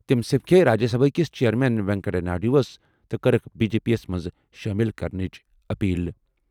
تٔمۍ سمکھیوٚو راجیہ سبھا ہٕک چیئرمین وینکیا نائیڈوَس تہٕ کٔرٕکھ بی جے پی یَس منٛز شٲمِل کرنٕچ اپیل۔